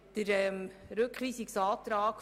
Somit gilt hier bisheriges Recht.